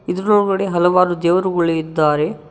ಇದರ ಒಳಗಡೆ ಹಲವಾರು ದೇವರುಗಳು ಇದ್ದಾರೆ.